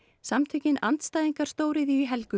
samtökin andstæðingar stóriðju í Helguvík